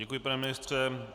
Děkuji, pane ministře.